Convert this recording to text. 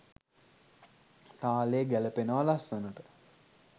තාලේ ගැලපෙනව ලස්සනට.